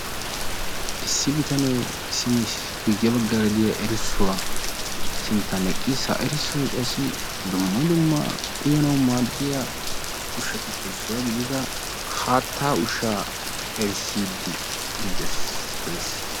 Issi bitanee guyye baggaara de'iya erssuwa sinttan eqqiis. Ha erssoy qassi dumma dumma uyanawu maaddiya ushshatuppe issuwa gidida haattaa ushshaa erissiiddi dees.